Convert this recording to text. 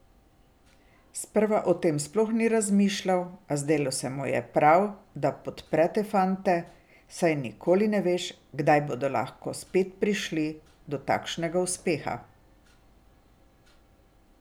Sprva o tem sploh ni razmišljal, a zdelo se mu je prav, da podpre te fante, saj nikoli ne veš, kdaj bodo lahko spet prišli do takšnega uspeha.